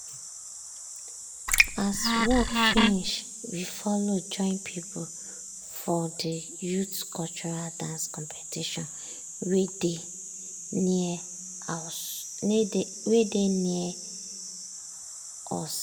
as work finish we follow join people for de youth cultural dance competition wey dey near us.